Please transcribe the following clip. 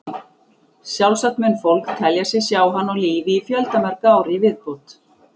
Sjálfsagt mun fólk telja sig sjá hann á lífi í fjöldamörg ár í viðbót.